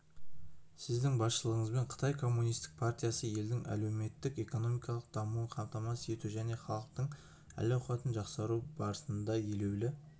сіздің басшылығыңызбен қытай коммунистік партиясы елдің әлеуметтік-экономикалық дамуын қамтамасыз ету және халықтың әл-ауқатын жақсарту барысында елеулі